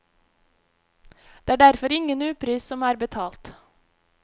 Det er derfor ingen upris som er betalt.